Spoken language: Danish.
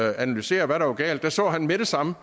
analysere hvad der var galt så han med det samme